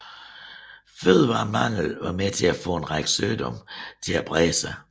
Fødevaremangel var med til at få en række sygdomme til at brede sig